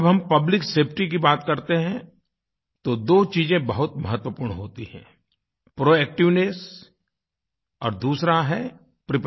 जब हम public safety की बात करते हैं तो दो चीज़ें बहुत महत्वपूर्ण होती हैं प्रोएक्टिवनेस और दूसरा है preparedness